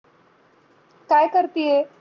काए कऱतीेए?